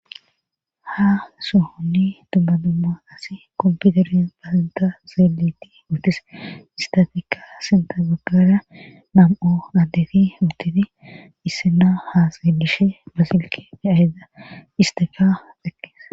ha sohonni tubbadumma qas kompiuteres basinta zeeletti uttis istafikka sintagogara mam7o addeti uttidi issena ha selishe basilke de aheda isteka dekkees